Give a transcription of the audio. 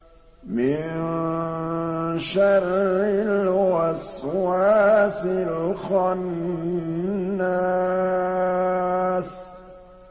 مِن شَرِّ الْوَسْوَاسِ الْخَنَّاسِ